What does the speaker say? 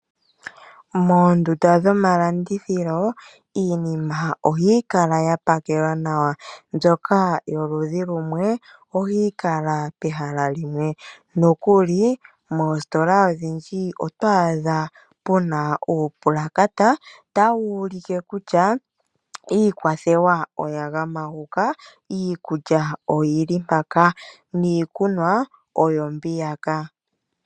Moondunda dhomalandithilo iinima ohayi kala ya pakelwa nawa mbyoka yomaludhi gamwe ohayi kala pehala limwe nokuli moositola odhindji oto adha muna uupulakata tawu ulike kutya iikwathewa oya gama huka, iikulya oyili mpaka niikunwa oyo mbiya ka.